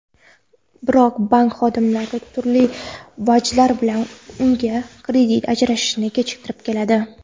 Biroq bank xodimlari turli vajlar bilan unga kredit ajratishni kechiktirib keladi.